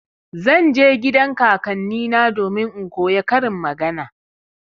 Zan je gidan kakannina domin in koya karin magana.